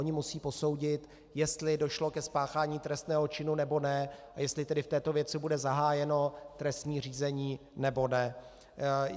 Oni musí posoudit, jestli došlo ke spáchání trestného činu, nebo ne a jestli tedy v této věci bude zahájeno trestní řízení, nebo ne.